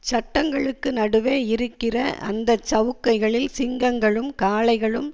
சட்டங்களுக்கு நடுவே இருக்கிற அந்த சவுக்கைகளில் சிங்கங்களும் காளைகளும்